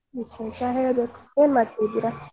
ವಿಶೇಷ ಹೇಳ್ಬೇಕು ಏನ್ ಮಾಡ್ತಾ ಇದೀರ .